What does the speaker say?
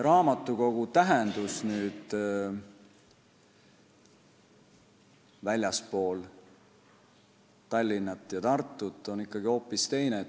Raamatukogu tähendus väljaspool Tallinna ja Tartut on ikkagi hoopis teine.